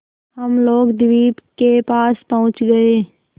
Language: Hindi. हम लोग द्वीप के पास पहुँच गए